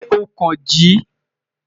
Ṣe o kan ji?